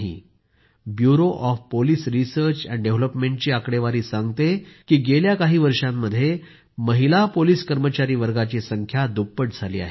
bureau of police research and डेव्हलपमेंटची आकडेवारी सांगते की गेल्या काही वर्षांमध्ये महिला पोलिस कर्मचारी वर्गाची संख्या दुप्पट झाली आहे